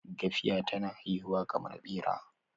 gafiya tana haihuwa kamar Bera